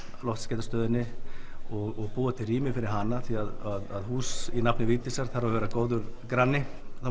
loftskeytastöðinni og búa til rými fyrir hana því að hús í nafni Vigdísar þarf að vera góður granni það